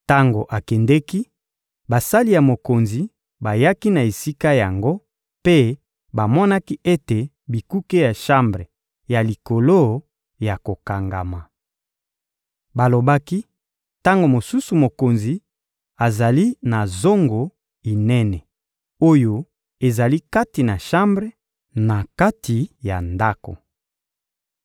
Tango akendeki, basali ya mokonzi bayaki na esika yango mpe bamonaki ete bikuke ya shambre ya likolo ya kokangama. Balobaki: — Tango mosusu mokonzi azali na zongo inene oyo ezali kati na shambre, na kati ya ndako.